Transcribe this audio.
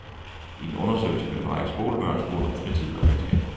I en undersøgelse blev en række skolebørn spurgt om fritid og venskaber.